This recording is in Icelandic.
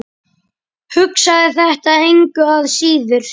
Hugsaði þetta engu að síður.